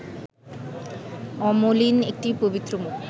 অমলিন একটি পবিত্র মুখ